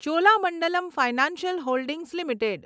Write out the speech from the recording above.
Cholamandalam financial holdings limited